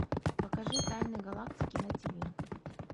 покажи тайны галактики на тиви